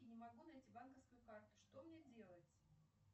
не могу найти банковскую карту что мне делать